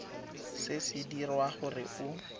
se se dirwa gore o